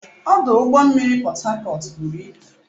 Ọdụ ụgbọ mmiri Port Harcourt buru ibu.